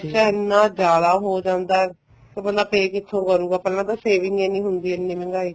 ਇੰਨਾ ਜਿਆਦਾ ਹੋ ਜਾਂਦਾ ਹੈ ਬੰਦਾ pay ਕਿੱਥੋਂ ਕਰੂਗਾ ਪਹਿਲਾਂ ਤਾਂ saving ਹੀ ਨਹੀਂ ਹੁੰਦੀ ਇੰਨੀ ਮਹਿੰਗਾਈ ਚ